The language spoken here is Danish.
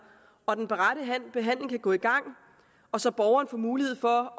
og den rette behandling kan gå i gang så borgeren får mulighed for